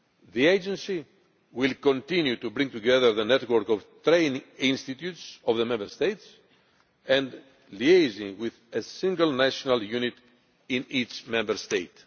The agency will continue to bring together the network of training institutes of the Member States and liaise with a single national unit in each Member State.